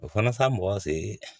O fana sa mɔgɔ seere